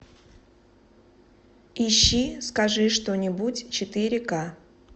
ищи скажи что нибудь четыре ка